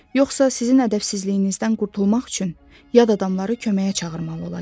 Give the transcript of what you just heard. Yoxsa sizin ədəbsizliyinizdən qurtulmaq üçün yad adamları köməyə çağırmalı olacam.